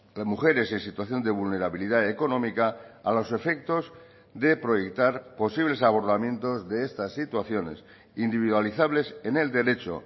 las mujeres en situación de vulnerabilidad económica a los efectos de proyectar posibles abordamientos de estas situaciones individualizables en el derecho